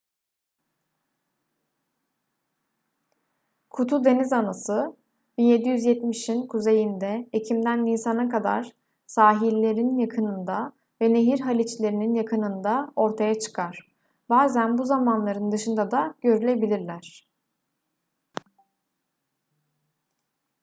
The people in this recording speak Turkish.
kutu denizanası 1770'in kuzeyinde ekimden nisana kadar sahillerin yakınında ve nehir haliçlerinin yakınında ortaya çıkar bazen bu zamanların dışında da görülebilirler